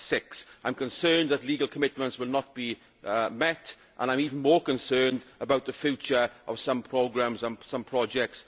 6. I am concerned that legal commitments will not be met and I am even more concerned about the future of some programmes and some projects.